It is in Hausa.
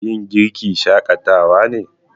Yin girki shakatawa ne.